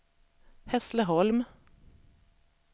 Hässleholm